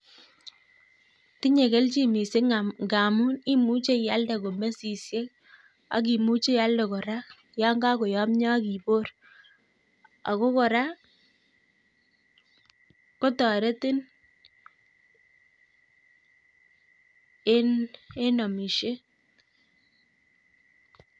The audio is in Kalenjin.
Tinye kelchin missing ngamun imuche iade komesisiek ak imuche ilde korak yon kokoyomyoo ak iboor ak kora kotoretiin en amisiet